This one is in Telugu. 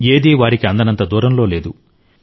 ఏదీ వారికి అందనంత దూరంలో లేదు